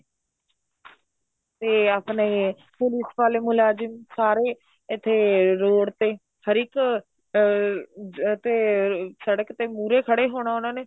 ਤੇ ਆਪਣੇ police ਵਾਲੇ ਮੁਲਾਜਮ ਸਾਰੇ ਇੱਥੇ road ਤੇ ਹਰ ਇੱਕ ਅਹ ਤੇ ਸੜਕ ਤੇ ਮੂਰੇ ਖੜੇ ਹੋਣਾ ਉਹਨਾ ਨੇ